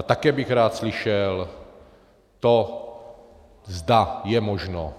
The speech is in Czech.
A také bych rád slyšel to, zda je možno